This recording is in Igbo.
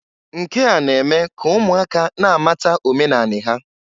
Nke a na-eme ka ụmụaka na-amata omenanị ha.